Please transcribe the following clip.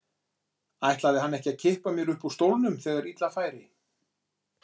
Ætlaði hann ekki að kippa mér upp úr stólnum þegar illa færi?